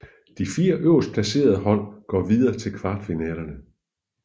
De 4 øverst placerede hold går videre til kvartfinalerne